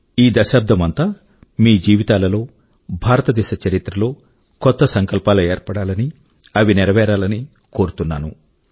ఈ దశాబ్దం అంతా మీ జీవితాల లో భారతదేశ చరిత్ర లో కొత్త సంకల్పాలు ఏర్పడాలనీ అవి నెరవేరాలనీ కోరుతున్నాను